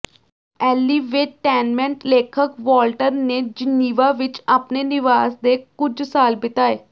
ਐਲੀਵੇਟੈਨਮੈਂਟ ਲੇਖਕ ਵੋਲਟੈਰ ਨੇ ਜਿਨੀਵਾ ਵਿਚ ਆਪਣੇ ਨਿਵਾਸ ਦੇ ਕੁਝ ਸਾਲ ਬਿਤਾਏ